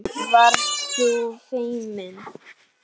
Varst þú feimin?